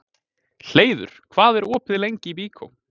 Hleiður, hvað er opið lengi í Byko?